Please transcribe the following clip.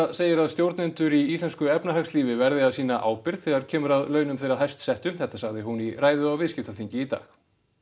segir að stjórnendur í íslensku efnahagslífi verði að sýna ábyrgð þegar kemur að launum þeirra hæst settu þetta sagði hún í ræðu á viðskiptaþingi í dag